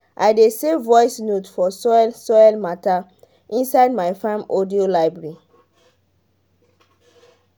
i dey save voice note for soil soil matter inside my farm audio library.